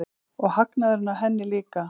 Og hagnaðurinn af henni líka.